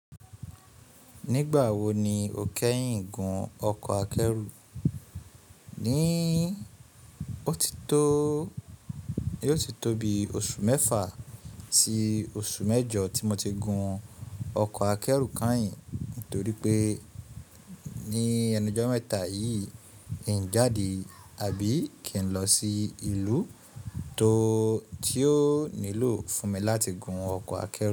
Nígbà wo ni o kẹ́yìn gun ọkọ̀ akẹ́rù? Ní òtítọ́, yóò ti tó bi oṣù mẹ́fà si oṣù mẹ́jọ tí mo ti gun ọkọ̀ akẹ́rù kanhìn, torí pé ní ẹnujọ́ mẹ́ta yìí, n jáde àbí kí n lọ sí ìlú tó tí ó nílò fún mi láti gun ọkọ̀ akẹ́rù.